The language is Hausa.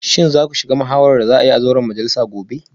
Shin za ku shiga muhawarar da za a yi a zauren majalisa gobe?